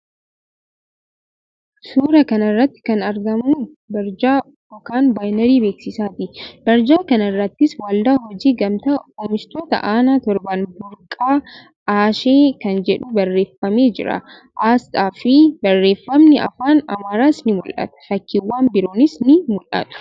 Suuraa kana irratti kan argamu barjaa (baaynerii) beeksisaati. Barjaa kana irrattis "Waldaa Hojii Gamtaa Oomishtoota Aannan Torban Burqaa Ashee" kan jedhu barreeffamee jira. Aasxaafi barreeffamni Afaan Amaaraas ni mul'ata. Fakkiiwwan biroonis ni mul'atu.